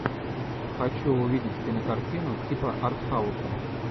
хочу увидеть кинокартину типа артхауса